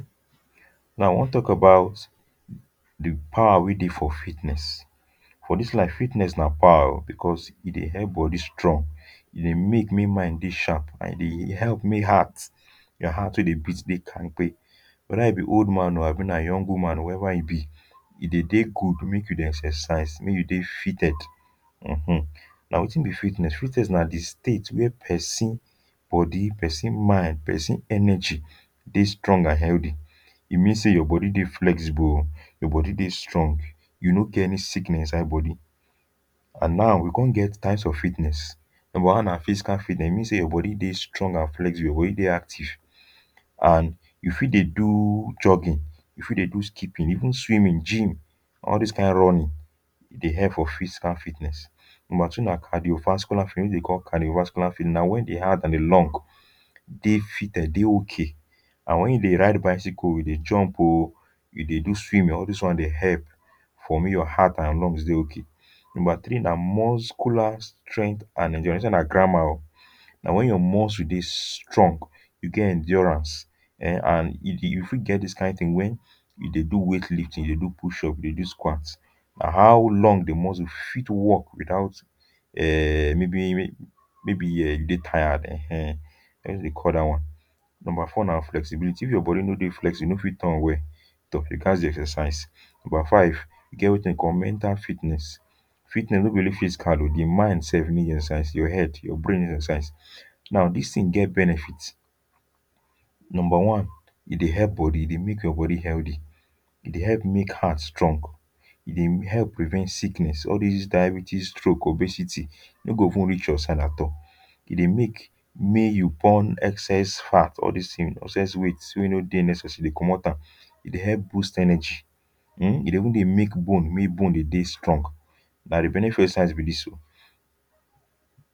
Now, I wan talk about the power wey dey for fitness. For dis life, fitness na power o because e dey help body strong. E dey make may mind dey sharp and e dey help make heart, your heart wey dey beat dey kampe. Whether you be old man o abi na young woman, whoever you be, e dey dey good make you dey exercise, may you dey fitted. Mm-hmm. Na wetin be fitness? Fitness na di state wey person body, person mind, person energy dey strong and healthy. E mean say your body dey flexible o, your body dey strong, you no get any sickness inside body. And now, we kon get types of fitness. Number one na physical fitness. E mean say your body dey strong and flexible. Your body dey active. And you fit dey do jogging. You fit dey do skipping, even swimming, gym; all this kain running, e dey help for physical fitness. Number two na cardiovascular, dey call cardiovascular. Na when di heart and di lung dey fitted, dey okay. And when you dey ride bicycle, you dey jump o, you dey do swimming; all this one dey help for make your heart and lungs dey okay. Number three na musclar strength and endurance. This one na grammar o. Na when you muscle dey strong, you get endurance; eh and you you fit get this kain thing when you dey do weight lift, you dey do push up, you dey do squats. Na how lung, di muscle fit work without um maybe, maybe um dey tired. Eh-ehn. dey call that one. Number four na flexibility. If your body no dey flexible, you no fit turn well. exercise. Number five, e get wetin dey call mental fitness. Fitness no be only physical o; di mind sef need exercise. Your head, your brain need exercise. Now, this thing get benefits. Number one, e dey help body, e dey make your body healthy. E dey help make heart strong. E dey help prevent sickness—all this diabetes, stroke, obesity, e no go even reach your side at all. E dey make may you burn excess fat, all these things, excess weight wey no dey necessary, e dey comot am. E dey help boost energy um E dey even dey help bone, make bone dey dey strong. Na di benefit of exercise be dis o.